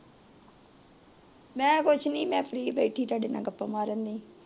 ਮੈ ਕੁਸ਼ ਨਹੀ ਮੈ ਫ਼ਰੀ ਬੈਥਿ ਤੁਹਾਦੇ ਨਾਲ ਗੱਪਾਂ ਮਾਰਨ ਨੂ